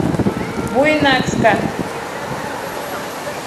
буйнакска